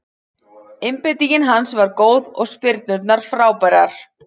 Einbeitingin hans var góð og spyrnurnar frábærar.